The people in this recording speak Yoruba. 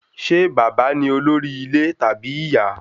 Ṣé bàbá ni olórí ilé tàbí ìyá?